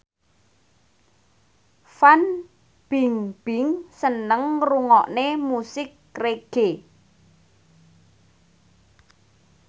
Fan Bingbing seneng ngrungokne musik reggae